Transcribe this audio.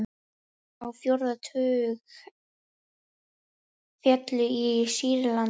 Á fjórða tug féllu í Sýrlandi